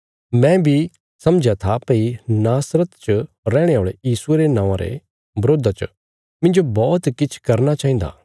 मैं बी समझया था भई नासरत च रैहणे औल़े यीशुये रे नौआं रे बरोधा च मिन्जो बौहत किछ करना चाहिन्दा